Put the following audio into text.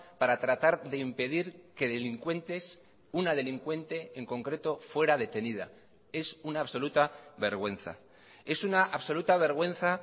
para tratar de impedir que delincuentes una delincuente en concreto fuera detenida es una absoluta vergüenza es una absoluta vergüenza